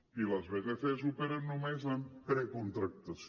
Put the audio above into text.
i les vtcs operen només amb precontractació